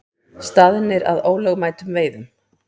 Staðnir að ólögmætum veiðum